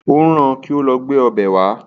Ó rán-an kí ó lọ gbé ọbẹ̀ wá